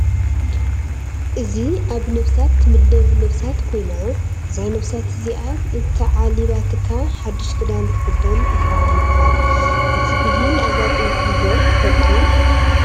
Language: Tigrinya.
እዚ ኣብ ነብሳት ትምደብ ነብሳት ኮይና እዛ ነብሳት እዚኣ እንተዓሊባትካ ሓዱሽ ክዳን ትክደን ኢካ ይበሃል:: እዚ ብሂል ኣጋጢሙኩም ዶ ይፍለጥ ?